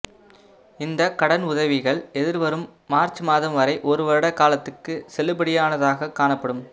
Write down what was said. இந்தக்கடன் உதவிகள் எதிர் வரும் மார்ச் மாதம் வரை ஒரு வருட காலத்துக்கு செல்லுபடியானதாக காணப்படும்